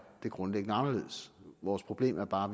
det grundlæggende anderledes vores problem er bare